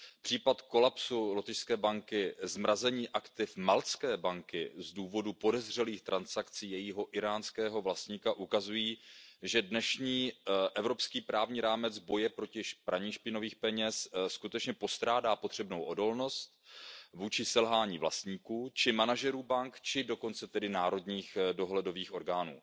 Případ kolapsu lotyšské banky, zmrazení aktiv maltské banky z důvodu podezřelých transakcí jejího iránského vlastníka ukazují, že dnešní evropský právní rámec boje proti praní špinavých peněz skutečně postrádá potřebnou odolnost vůči selhání vlastníků či manažerů bank, či dokonce tedy národních dohledových orgánů.